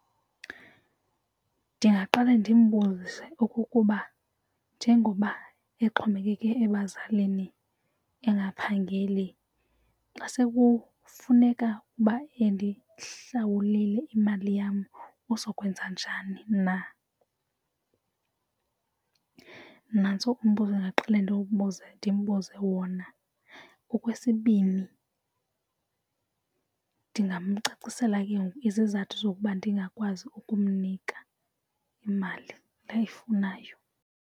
Ndingaqale ndimbuze okokuba njengoba exhomekeke ebazalini engaphangeli xa sekufuneka endihlawulile imali yam uzokwenza njani. Nantso umbuzo endingaqale ndimbuze wona. Okwesibini, ndingamcacisela ke ngoku izizathu zokuba ndingakwazi ukumnika imali le ayifunayo.